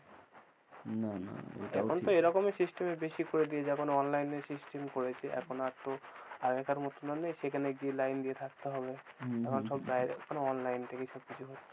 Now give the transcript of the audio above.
না না এটাই ঠিক। এখন তো এরকমই system এ বেশি করে দিয়েছে, এখন online system করেছে, এখন আর তো আগেকার মতন আর নেই সেখানে গিয়ে লাইন দিয়ে থকতে হবে, হম এখন সব online থেকেই সবকিছু হচ্ছে।